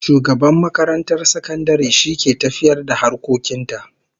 Shugaban makarantar sakandare shi ke tafiyar da harkokin ta